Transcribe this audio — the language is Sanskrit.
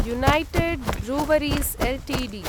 united Breweries Ltd